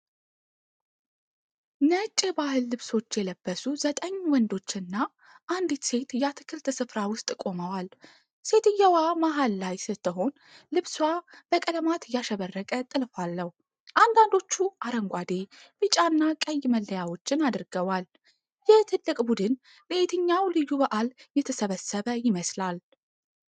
ነጭ የባህል ልብሶች የለበሱ ዘጠኝ ወንዶችና አንዲት ሴት የአትክልት ስፍራ ውስጥ ቆመዋል። ሴትየዋ መሃል ላይ ስትሆን ልብሷ በቀለማት ያሸበረቀ ጥልፍ አለው፤ አንዳንዶቹ አረንጓዴ፣ ቢጫና ቀይ መለያዎችን አድርገዋል። ይህ ትልቅ ቡድን ለየትኛው ልዩ በዓል የተሰበሰበ ይመስላል?